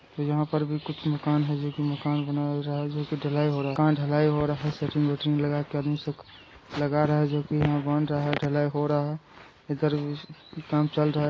यहाँ पर भी कुछ मकान है जो कि मकान बना रहा जो कि ढलाई हो रहा। कहाँ ढलाई हो रहा शेटरिंग वेटिंग लगा के आदमी सुक लगा रहा है जो कि यहाँ बन रहा है। ढलाई हो रहा है इधर भी काम चल रहा --